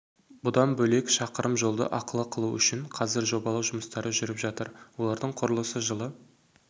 бұдан бөлек шақырым жолды ақылы қылу үшін қазір жобалау жұмыстары жүріп жатыр олардың құрылысы жылы